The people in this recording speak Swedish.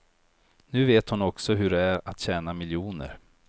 Nu vet hon också hur det är att tjäna miljoner.